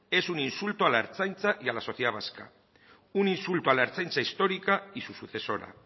es un insulto a la ertzaintza y a la sociedad vasca un insulto a la ertzaintza histórica y su sucesora